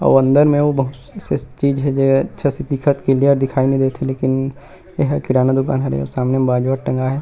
अऊ अंदर में अऊ बहुत से चीज हे जेहा अच्छा से दिखत क्लियर दिखाई नई देत हे लेकिन एहा किराना दुकान हरे सामने में बाजवट टँगाए हे।